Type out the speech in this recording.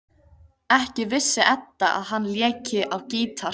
Ekki vissi Edda að hann léki á gítar.